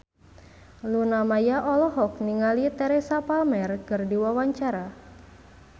Luna Maya olohok ningali Teresa Palmer keur diwawancara